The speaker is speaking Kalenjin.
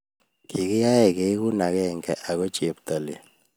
Kigiyayech keegu agenge ako cheptailel